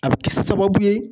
A bi kɛ sababu ye